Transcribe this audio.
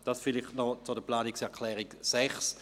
Dies vielleicht noch zur Planungserklärung 6.